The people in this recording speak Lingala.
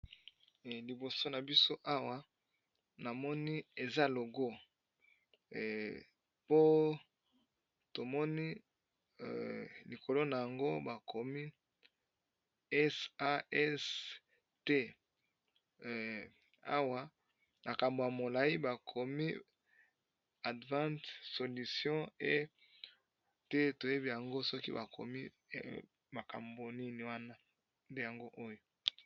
liboso na biso awa namoni eza logo po tomoni likolo na yango bakomi sasta na kambo ya molai bakomi advante solution e te toyebi yango soki bakomi makambo nini wana yango oyo